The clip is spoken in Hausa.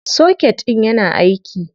Soket ɗIn yana aiki.